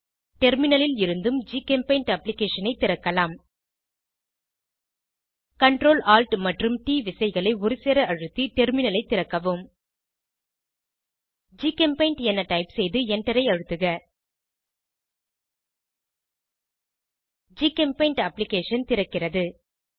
டெர்மினலில் இருந்தும் ஜிகெம்பெய்ண்ட் அப்ளிகேஷனை திறக்கலாம் CTRL ஏடிஎல் மற்றும் ட் விசைகளை ஒருசேர அழுத்தி டெர்மினலைத் திறக்கவும் ஜிசெம்பெயிண்ட் என டைப் செய்து எண்டரை அழுத்துக ஜிகெம்பெய்ண்ட் அப்ளிகேஷன் திறக்கிறது